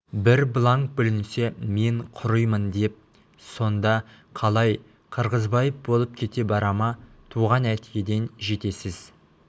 бір бланк бүлінсе мен құримын деп сонда қалай қырғызбаев болып кете бара ма туған әкеден жетесіз